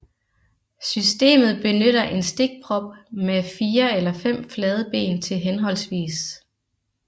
Systemet benytter en stikprop med 4 eller 5 flade ben til hhv